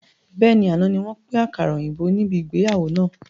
Bẹ́ẹ̀ni, àná ni wọn pin àkàrà òyìnbó níbi ìgbéyàwó náà.